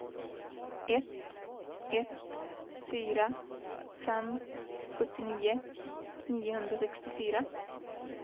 ett ett fyra fem sjuttionio niohundrasextiofyra